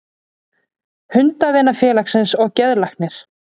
Hundavinafélagsins og geðlæknir.